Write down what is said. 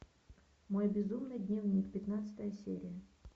мой безумный дневник пятнадцатая серия